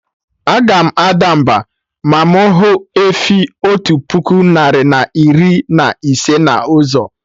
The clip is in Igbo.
Aga m ada mba, ma mụ hụ efi otu puku narị na iri na ise na ụzọ